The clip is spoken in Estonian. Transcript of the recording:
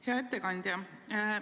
Hea ettekandja!